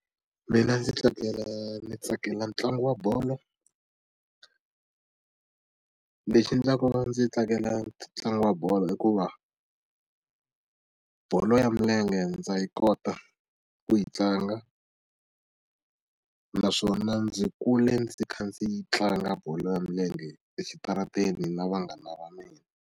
Mina ndzi tsakela ndzi tsakela ntlangu wa bolo lexi endlaka ndzi tsakela ntlangu wa bolo hikuva bolo ya milenge ndza yi kota ku yi tlanga naswona ndzi kule ndzi kha ndzi yi tlanga bolo ya milenge exitarateni na vanghana va mina.